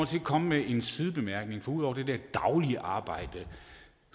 til at komme med en sidebemærkning for ud over det der daglige arbejde